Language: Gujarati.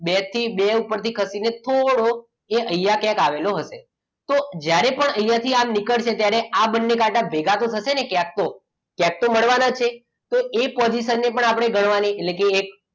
બે થી બે ઉપરથી થોડોક અહીંયા ક્યાંક આવેલો હશે તો જ્યારે પણ અહીંયા થી આમ નીકળશે ત્યારે આ બંને કાંટા ભેગા તો થશે ને ક્યાંક તો ક્યાંક તો મળવાના છે તો એ possion ને પણ આપણે ગણવાની